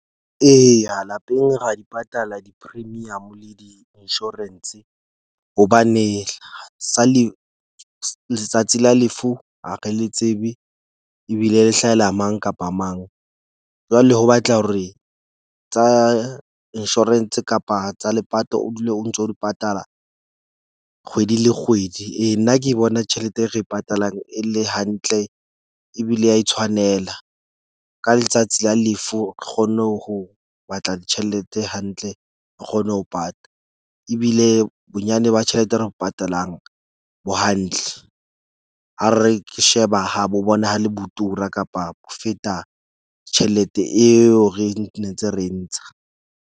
Eya, lapeng ra di patala di-premium le di-insurance hobane sa le letsatsi la lefu, ha re le tsebe ebile le hlahela mang kapa mang. Jwale ho batleha hore tsa insurance kapa tsa lepato o dule o ntso di patala kgwedi le kgwedi. Ee, nna ke bona tjhelete e re e patalang e le hantle ebile ya e tshwanela. Ka letsatsi la lefu re kgonne ho batla tjhelete hantle, re kgone ho pata. Ebile bonyane ba tjhelete re patalang bo hantle ha re sheba ha bo bonahale bo tura kapa bo feta tjhelete eo re netse re ntsha.